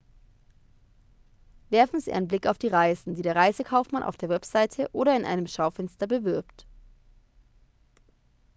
werfen sie einen blick auf die reisen die der reisekaufmann auf der webseite oder in einem schaufenster bewirbt